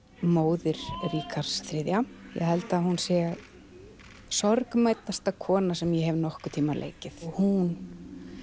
móður Ríkharðs þrjú ég held að hún sé kona sem ég hef nokkurn tímann leikið hún